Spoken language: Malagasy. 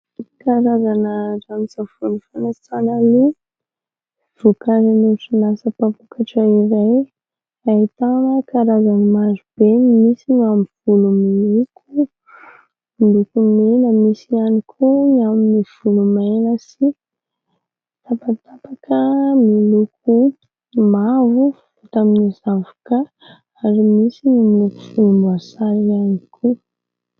Karazana ranon-tsavony fanasana loha, vokarin'ny orinasa mpamokatra iray, ahitana karazany marobe, misy ny amin'ny volo miloko : miloko mena, misy ihany koa ny amin'ny volo maina sy tapatapaka : miloko mavo, vita avy amin'ny zavoka ary misy ny volomboasary ihany koa.